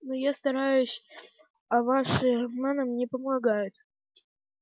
но я стараюсь а ваши романы мне помогают